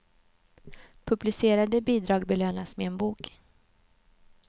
Publicerade bidrag belönas med en bok.